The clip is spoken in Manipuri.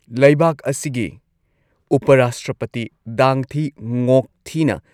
ꯂꯩꯕꯥꯛ ꯑꯁꯤꯒꯤ ꯎꯄ ꯔꯥꯁꯇ꯭ꯔꯄꯇꯤ ꯗꯥꯡ ꯊꯤ ꯉꯣꯛ ꯊꯤꯅ